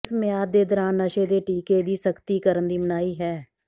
ਇਸ ਮਿਆਦ ਦੇ ਦੌਰਾਨ ਨਸ਼ੇ ਦੇ ਟੀਕੇ ਦੀ ਸਖ਼ਤੀ ਕਰਨ ਦੀ ਮਨਾਹੀ ਹੈ